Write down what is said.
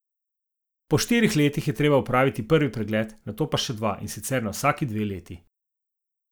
Po štirih letih je treba opraviti prvi pregled, nato pa še dva, in sicer na vsaki dve leti.